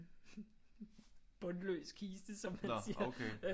Bundløs kiste som man siger